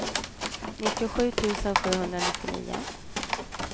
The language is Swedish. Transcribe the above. nittiosju tusen sjuhundranittionio